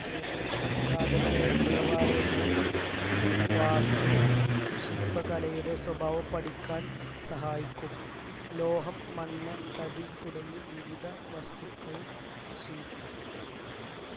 കേരളത്തിലെ പുരാതനവേ ദേവാലയങ്ങൾ വാസ്തു ശില്പകലയുടെ സ്വഭാവം പഠിക്കാൻ സഹായിക്കും ലോഹം മണ്ണ് തടി തുടങ്ങി വിവിധ വസ്തുക്കൾ ശിൽ